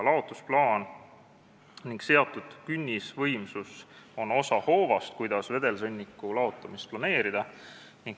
Laotusplaan ning seatud künnisvõimsus on osa hoovast, kuidas vedelsõnniku laotamist planeerida.